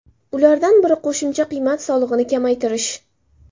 Ulardan biri qo‘shimcha qiymat solig‘ini kamaytirish.